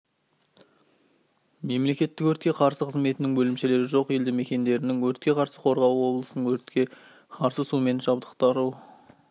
мемлекеттік өртке қарсы қызметінің бөлімшелері жоқ елді мекендерінің өртке қарсы қорғауы облыстың өртке қарсы сумен жабдықтыру